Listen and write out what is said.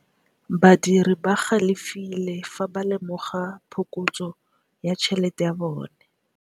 Badiri ba galefile fa ba lemoga phokotsô ya tšhelête ya bone.